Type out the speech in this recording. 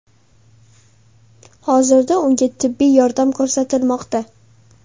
Hozirda unga tibbiy yordam ko‘rsatilmoqda.